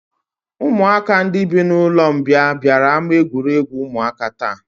Ụmụaka ndị bi n'ụlọmbịa bịara ama egwuregwu ụmụaka taa